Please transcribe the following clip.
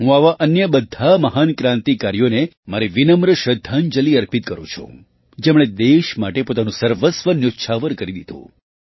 હું આવા અન્ય બધાં મહાન ક્રાંતિકારીઓને મારી વિનમ્ર શ્રદ્ધાંજલિ અર્પિત કરું છું જેમણે દેશ માટે પોતાનું સર્વસ્વ ન્યોચ્છાવર કરી દીધું